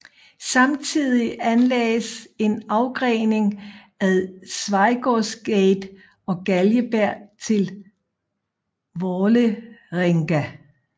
Samtidig anlagdes en afgrening ad Schweigaards gate og Galgeberg til Vålerenga